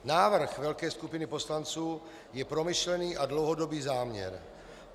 Návrh velké skupiny poslanců je promyšlený a dlouhodobý záměr.